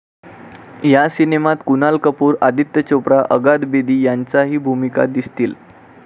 या सिनेमात कुणाल कपूर, आदित्य चोप्रा, अंगद बेदी यांच्याही भूमिका दिसतील.